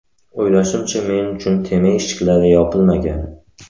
O‘ylashimcha, men uchun terma eshiklari yopilmagan.